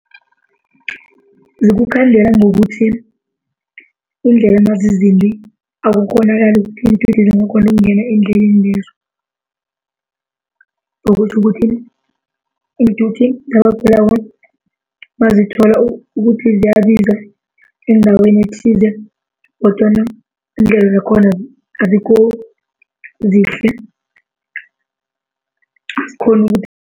Zikukhandela ngokuthi, iindlela mazizimbi akukghonakali ukuthi iinthuthi zingakghona ukungena eendleleni lezo. Okutjho ukuthi iinthuthi zabagulako mazithola ukuthi ziyabizwa endaweni ethize kodwana indlela zakhona azikho zihle azikghona ukuthi